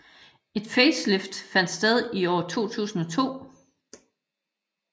Et facelift fandt sted i år 2002